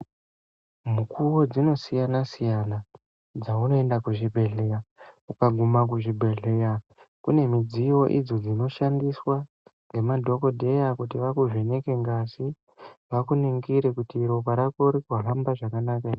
Mukuwo dzinosiyana-siyana, dzaunoenda kuzvibhedhleya, ukaguma kuzvibhedhleya kune midziyo inoshandiswa ngemadhokodheya kuti vakuvheneke ngazi, vakuningire kuti ropa rako riri kuhamba zvakanaka ere?